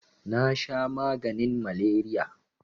nasha maganin maleriya